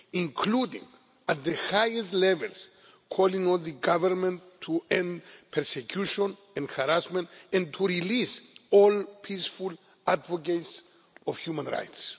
including at the highest levels, calling on the Government to end persecution and harassment, and to release all peaceful advocates of human rights.